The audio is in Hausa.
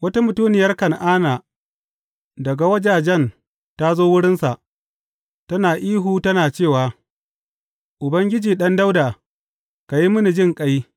Wata mutuniyar Kan’ana daga wajajen ta zo wurinsa, tana ihu tana cewa, Ubangiji, Ɗan Dawuda, ka yi mini jinƙai!